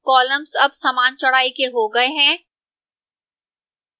columns अब समान चौड़ाई के हो गए हैं